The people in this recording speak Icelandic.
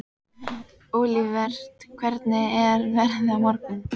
Olivert, hvernig er veðrið á morgun?